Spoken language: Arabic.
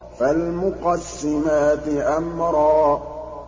فَالْمُقَسِّمَاتِ أَمْرًا